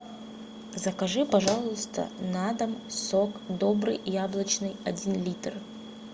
закажи пожалуйста на дом сок добрый яблочный один литр